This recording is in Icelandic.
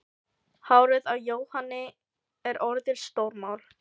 Hárið á Jóhanni er orðið stórmál.